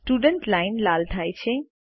students line લાલ થાય છે